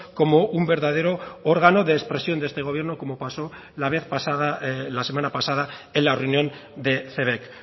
como un verdadero órgano de expresión de este gobierno como pasó la vez pasada la semana pasada en la reunión de cebek